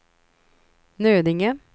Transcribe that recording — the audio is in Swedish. Nödinge